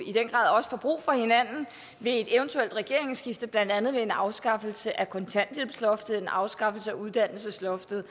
i den grad også får brug for hinanden ved et eventuelt regeringsskifte blandt andet ved afskaffelse af kontanthjælpsloftet afskaffelse af uddannelsesloftet